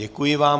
Děkuji vám.